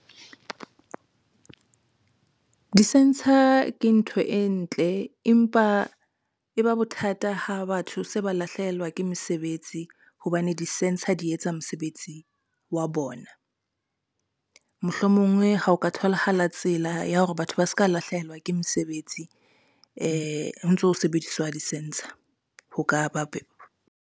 Di-sensor ke ntho e ntle, empa e ba bothata ha batho se ba lahlehelwa ke mesebetsi hobane di-sensor di etsa mosebetsi wa bona. Mohlomongwe ha o ka tholahala tsela ya hore batho ba ska lahlehelwa ke mesebetsi ho ntso ho sebediswa di-sensor ho ka ba .